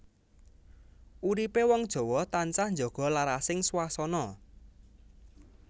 Uripé wong Jawa tansah njaga larasing swasana